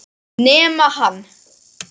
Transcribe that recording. Nema hann.